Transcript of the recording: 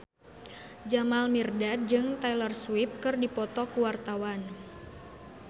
Jamal Mirdad jeung Taylor Swift keur dipoto ku wartawan